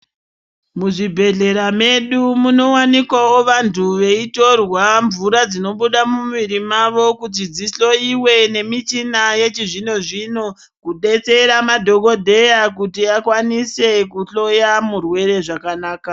Muzvibhedhela medu munowanikawo vantu veyitorwa mvura dzinobhuda mumwiri mavo kuti dzihloyiwe nemichina yechizvinozvino, kudetsera madhokodheya kuti akwanise kuhloya murwere zvakanaka.